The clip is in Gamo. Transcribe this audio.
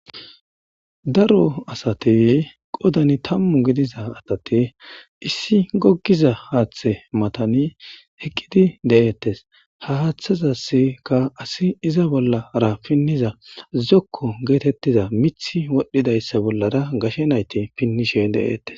Daro asate qodani tammu gidiza asate issi gogiza haaththe matani heqqidi de7eettes ha haaththazasika asi iza bollara pinniza zokko geetettiza mithi wodhdhidayssa bollara gashe nayte pinnishe de7eettes.